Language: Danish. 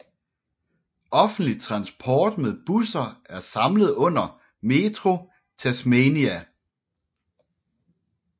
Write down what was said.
Offentlig transport med busser er samlet under Metro Tasmania